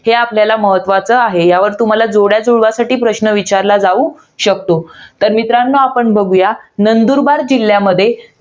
हे आपल्याला महत्वाचं आहे. यावर तुम्हाला जोड्या जुळवासाठी प्रश्न विचारला जाऊ शकतो. तर मित्रांनो आपण बघूया, नंदुरबार जिल्ह्यामध्ये